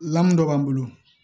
Lamu dɔ b'an bolo